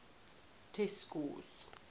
test scores